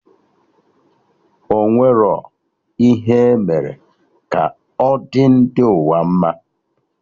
Ọ enwerọ ihe emere ka ọ dị ndị ụwa mma